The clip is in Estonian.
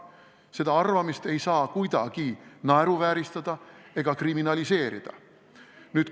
Seda arvamist ei saa kuidagi naeruvääristada ega kriminaliseerida.